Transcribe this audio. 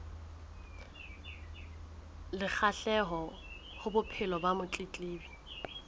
le kgahleho bophelong ba motletlebi